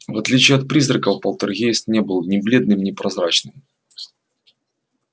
в отличие от призраков полтергейст не был ни бледным ни прозрачным